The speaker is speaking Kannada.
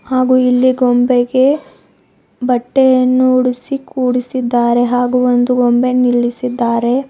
ಹಾಗೂ ಇಲ್ಲಿ ಗೊಂಬೆಗೆ ಬಟ್ಟೆಯನ್ನು ಹುಡುಸಿ ಕೂಡಿಸಿದ್ದಾರೆ ಹಾಗೂ ಒಂದು ಗೊಂಬೆ ನಿಲ್ಲಿಸಿದ್ದಾರೆ.